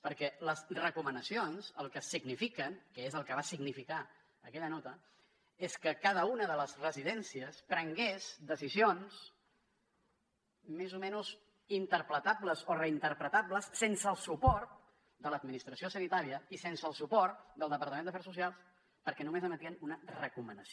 perquè les recomanacions el que signifiquen que és el que va significar aquella nota és que cada una de les residències prengués decisions més o menys interpretables o reinterpretables sense el suport de l’administració sanitària i sense el suport del departament d’afers socials perquè només emetien una recomanació